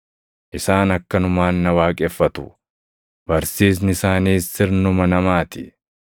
Isaan akkanumaan na waaqeffatu; barsiisni isaaniis sirnuma namaa ti.’ + 7:7 \+xt Isa 29:13\+xt*